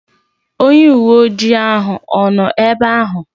Onye uwe ojii ahụ ọ nọ ebe ahụ?